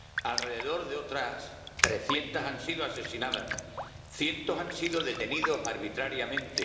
alrededor de otras 300 han sido asesinadas cientos han sido detenidas arbitrariamente